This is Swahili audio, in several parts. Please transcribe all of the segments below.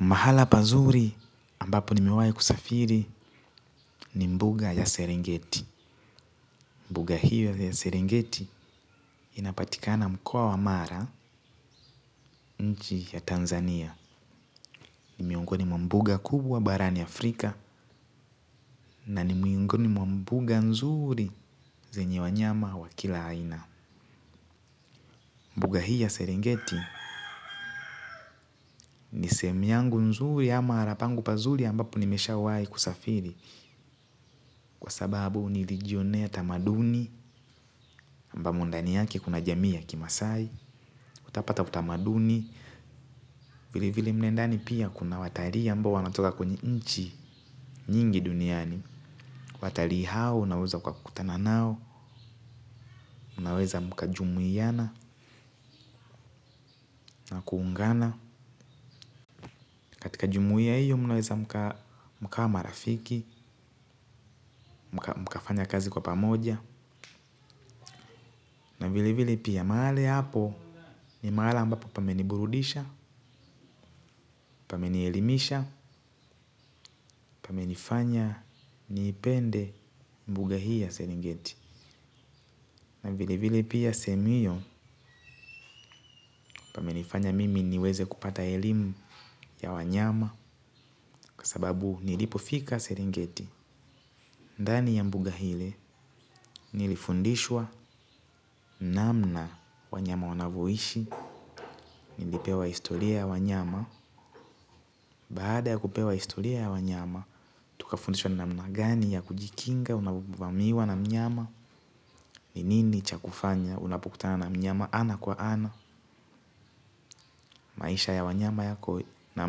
Mahala pazuri ambapo nimewai kusafiri ni mbuga ya Serengeti. Mbuga hiyo ya serengeti inapatikana mkoa wa mara nchi ya Tanzania. Ni miongoni mwa mbuga kubwa barani afrika na miongoni mwa mbuga nzuri zenye wanyama wa kila aina. Mbuga hii ya serengeti ni sehemu yangu nzuri ama harapangu pazuri ambapo nimesha wai kusafiri. Kwa sababu nilijionea tamaduni ambamo ndani yake kuna jamii ya kimasai. Utapata utamaduni. Vile vile mle ndani pia kuna watarii ambao wanatoka kwenye nchi nyingi duniani. Watarii hao unaweza kukutana nao. Unaweza mkajumuiana na kuungana. Katika jumuia iyo mnaweza mkawa marafiki. Mkafanya kazi kwa pamoja na vile vile pia mahali hapo ni mahala ambapo pameni burudisha. Pamenielimisha, pamenifanya niipende mbuga hii ya Serengeti Na vile vile pia sehemu hiyo pamenifanya mimi niweze kupata elimu ya wanyama. Kwasababu nilipofika serengeti. Ndani ya mbuga hili nilifundishwa namna wanyama wanavoishi. Nilipewa historia ya wanyama. Bahada ya kupewa historia ya wanyama. Tuka fundishwa namna gani ya kujikinga unavamiwa na mnyama. Ni nini cha kufanya unapukutana na mnyama ana kwa ana. Maisha ya wanyama yako na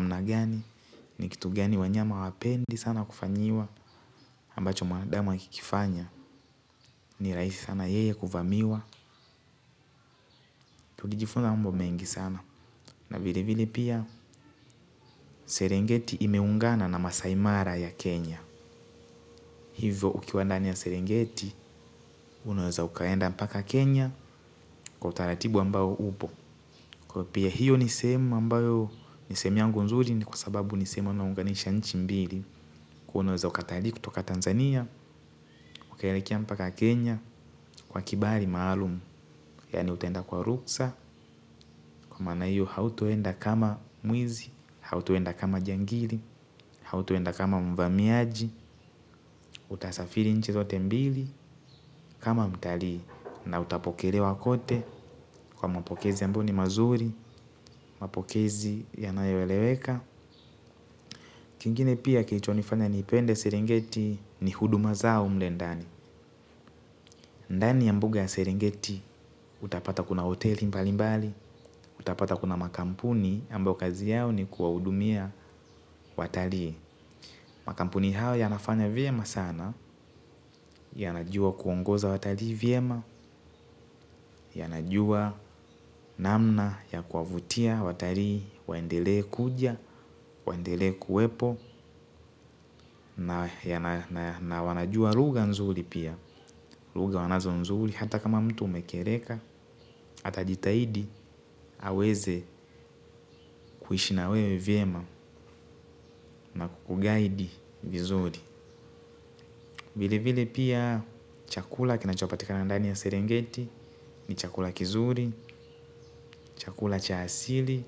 mnagani. Ni kitu gani wanyama hawapendi sana kufanyiwa ambacho mwanadamu akikifanya ni rahisi sana yeye kuvamiwa. Tulijifunza mambo mengi sana na vile vile pia Serengeti imeungana na masai mara ya Kenya. Hivo ukiwa ndani ya Serengeti Unaweza ukaenda mpaka Kenya. Kwa utaratibu ambao upo, kwa pia hiyo ni sehemu ambayo nisema yangu nzuri ni kwa sababu nisema unaunganisha nchi mbili kuwa unaweza ukatalii kutoka Tanzania ukaelekea mpaka Kenya kwa kibali maalumu yaani utenda kwa ruksa kwa maana hiyo hautoenda kama mwizi hautoenda kama jangili hautoenda kama mvamiaji utasafiri nchi zote mbili kama mtalii na utapokelewa kote kwa mapokezi ambayo ni mazuri mapokezi yanayo eleweka kingine pia kilichonifanya niipende serengeti ni huduma zao mlendani. Ndani ya mbuga ya serengeti, utapata kuna hoteli mbalimbali, utapata kuna makampuni, ambao kazi yao ni kuwahudumia watalii. Makampuni hao yanafanya vyema sana, ya najua kuongoza watalii vyema, ya najua namna ya kuwavutia watalii, waendele kuja, waendele kuwepo, na wanajua lugha nzuri pia. Lugha wanazo nzuri, hata kama mtu umekereka, atajitahidi, aweze kuishi na wewe vyema na kukugaidi vizuri. Vile vile pia chakula kinachopatikana ndani ya serengeti, ni chakula kizuri, chakula cha asili,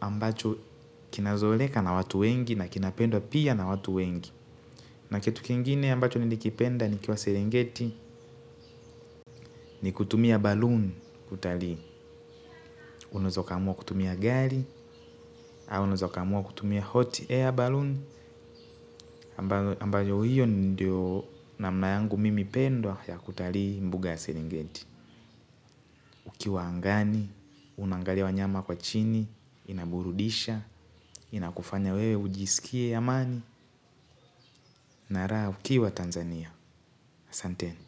ambacho kinazoleka na watu wengi na kinapendwa pia na watu wengi. Na kitu kingine ambacho nilikipenda nikiwa seringeti ni kutumia baloon kutalii. Unaezokaamua kutumia gali au unazokaamua kutumia hot air baloon ambayo hiyo ndio namna yangu mimi pendwa ya kutalii mbuga ya seringeti. Ukiwa angani, unangalia wanyama kwa chini, inaburudisha, inakufanya wewe ujisikie amani na raha ukiwa Tanzania. Asanteni.